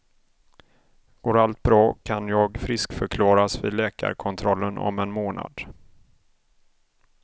Går allt bra kan jag friskförklaras vid läkarkontrollen om en månad.